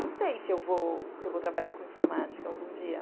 Não sei se eu vou trabalhar com informática algum dia.